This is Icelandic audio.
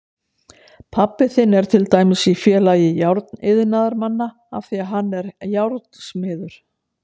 Pabbi þinn er til dæmis í Félagi járniðnaðarmanna af því að hann er járnsmiður.